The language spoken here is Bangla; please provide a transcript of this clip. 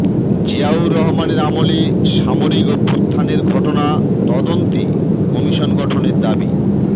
জিয়াউর রহমানের আমলে সামরিক অভ্যূত্থানের ঘটনা তদন্তে কমিশন গঠনের দাবি